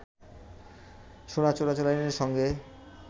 সোনা চোরাচালানির সঙ্গে